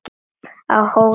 Á Hólum